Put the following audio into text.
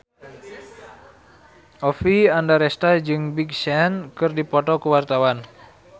Oppie Andaresta jeung Big Sean keur dipoto ku wartawan